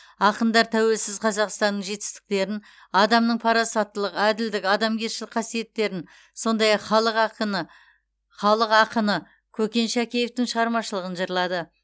ақындар тәуелсіз қазақстанның жетістіктерін адамның парасаттылық әділдік адамгершілік қасиеттерін сондай ақ халық ақыны халық ақыны көкен шәкеевтің шығармашылығын жырлады